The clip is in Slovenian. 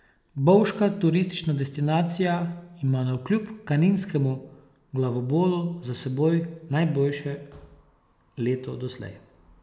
Bovška turistična destinacija ima navkljub kaninskemu glavobolu za seboj najboljše leto doslej.